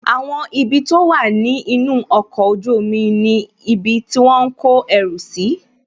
Àwọn ibi tó wà ní inú ọkọ̀ ojú omi ni ibi tí wọ́n ń kọ ẹrù si